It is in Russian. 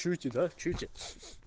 чуете да чуете